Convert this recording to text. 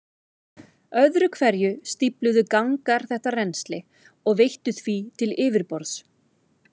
Öðru hverju stífluðu gangar þetta rennsli og veittu því til yfirborðs.